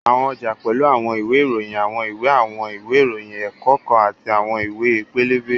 Àwọn ọjà pẹ́lú àwọn ìwé ìròyìn, àwọn ìwé àwọn ìwé ìròyìn ẹ̀kọ́ kan àti àwọn ìwé pẹlẹbẹ